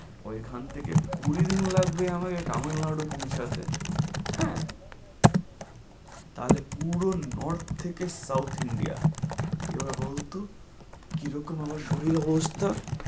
ওই খান থেকে কুড়ি দিন লাগবে আমাকে তামিল নাড়ু পৌঁছাতে, হ্যাঁ। তাহলে পুরো north থেকে south India এবার বলত কি রকম আমার শরীলের অবস্থা?